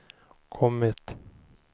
kommit